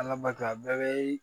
Ala barika a bɛɛ bɛ